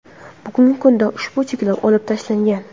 Bugungi kunda ushbu cheklov olib tashlangan.